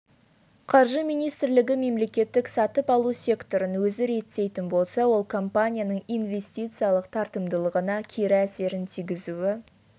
қаржы министрлігі мемлекеттік сатып алу секторын өзі реттейтін болса ол компанияның ивестициялық тартымдылығына кері әсерін тигізуі